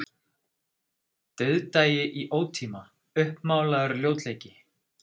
Dauðdagi í ótíma, uppmálaður ljótleiki.